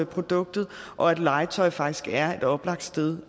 produktet og at legetøj faktisk er et oplagt sted